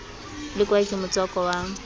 le kwae ke motswako wa